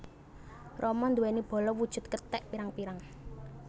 Rama nduwèni bala wujud kethèk pirang pirang